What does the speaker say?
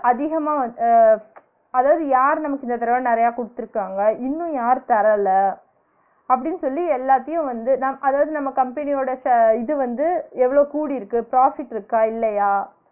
அதிகமா வந் அஹ் அதாவது யாரு நமக்கு இந்த தடவ நிறய கொடுத்திருக்காங்க இன்னும் யாரு தரல அப்பிடின்னு சொல்லி எல்லாத்தையும் வந்து நம் அதாவது நம்ம company யோட share இது வந்து எவ்ளோ கூடியிருக்கு profit இருக்கா? இல்லையா?